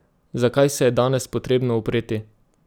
Zakaj se je danes potrebno upreti?